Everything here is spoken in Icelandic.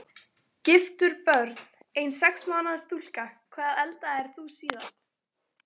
Giftur Börn: Ein sex mánaða stúlka Hvað eldaðir þú síðast?